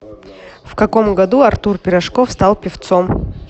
в каком году артур пирожков стал певцом